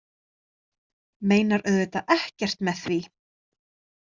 Meinar auðvitað ekkert með því.